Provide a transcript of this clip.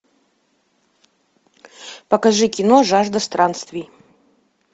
покажи кино жажда странствий